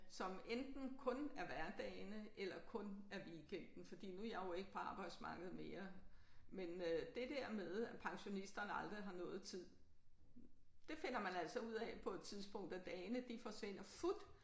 Som enten kun er hverdagene eller kun er weekenden fordi nu er jeg jo ikke på arbejdsmarkedet mere men øh det der med at pensionisterne aldrig har noget tid det finder man altså ud af på et tidspunkt at dagene de forsvinder fut